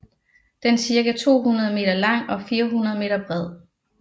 Den er cirka 200 meter lang og 14 meter bred